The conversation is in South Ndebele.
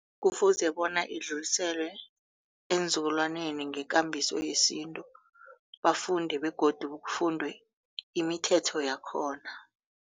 Kufuze bona idluliselwe eenzukulwaneni ngekambiso yesintu bafunde begodu kufundwe imithetho yakhona.